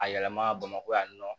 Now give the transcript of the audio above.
A yɛlɛma bamakɔ yan nɔ